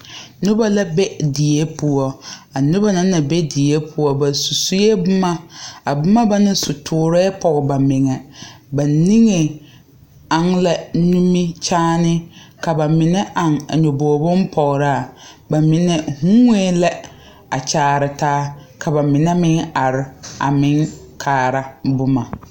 Nobɔ la be die poɔ a nobɔ na naŋ be die poɔ ba su suee boma a boma ba na su toorɛɛ pɔge ba meŋɛ ba niŋe aŋ la nimikyaane ka ba mine aŋ a nyobogre bonpɔgraa ba mine huuwɛɛ lɛ a kyaare taa ka ba mine meŋ are a meŋ kaara boma.